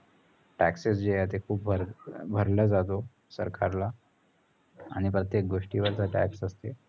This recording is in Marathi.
taxes जे आहेत ते खूप भरभरला जातो सरकारला आणि प्रत्येक गोष्टीवरचा tax असते.